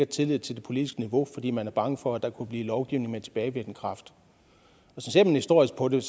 tillid til det politiske niveau fordi man er bange for at der kunne blive lovgivning med tilbagevirkende kraft ser man historisk på det